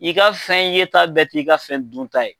I ka fɛn ye ta bɛɛ t'i ka fɛn dun ta ye.